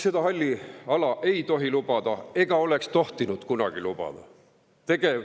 Seda halli ala ei tohi lubada ega oleks tohtinud kunagi lubada.